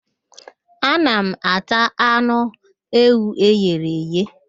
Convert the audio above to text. Ana m ata anụ ewu eghere eghe.